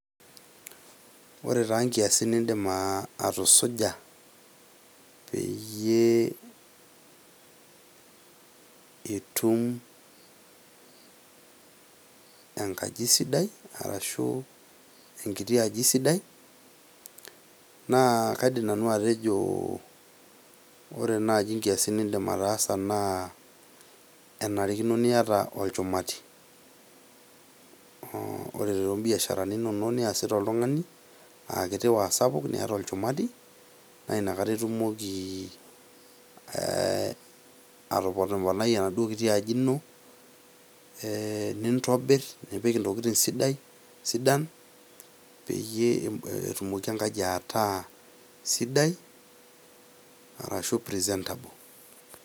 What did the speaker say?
Ore taa nkiasin niindim atusuja peyie itum enkaji sidai arashu enkiti aji sidai naa kaidim nanu atejo ore naji nkiasin niindim ataasa naa enarikino niata olchumati. ore too mbiasharani inonok niasita oltung'ani a kiti o a sapuk niata lolchumati naa inakata itumoki ee atoponponai enaduo kiti aji ino ee nintobir nipik ntokitin sidai sidan peyie etumoki enkaji ataa sidai arashu presentable.